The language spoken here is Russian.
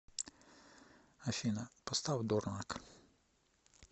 афина поставь дорник